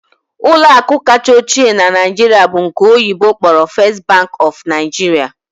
Ụlọ akụ kacha ochie na Naịjirịa bụ nke oyibo kpọrọ 'First Bank of Nigeria'